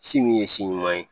Si min ye si ɲuman ye